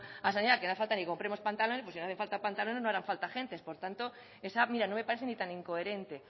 a sanidad que no hace falta ni que compremos pantalones pues si no hacen falta pantalones no harán falta agentes por tanto esa mira no me parece ni tan incoherente